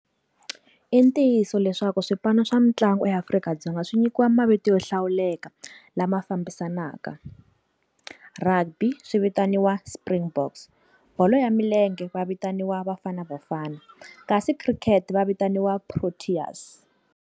Intiyiso leswaku xipano xa mitlanguya Afrika-Dzonga swi nyikiwa mavito yo hlawuleka lama fambiselanaka, Rugby swi vitaniwa Springboks, bolo ya milenge va vitaniwa Bafana Bafana kasi cricket va vitaniwa Proteas.